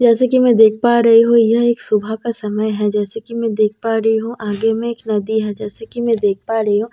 जैसे कि मैं देख पा रही हूं यह एक सुबह का समय है जैसे कि मैं देख पा रही हूं आगे में एक नदी है जैसे कि मैं देख पा रही हूं।